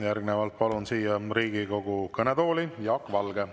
Järgnevalt palun siia Riigikogu kõnetooli Jaak Valge.